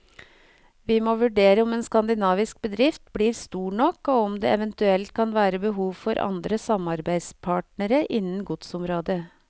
Vi må vurdere om en skandinavisk bedrift blir stor nok og om det eventuelt kan være behov for andre samarbeidspartene innen godsområdet.